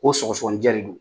Ko sɔgɔsɔgɔninjɛ de don.